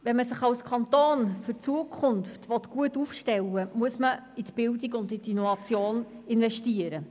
Wenn man sich als Kanton für die Zukunft gut aufstellen will, muss man in die Bildung und in die Innovation investieren.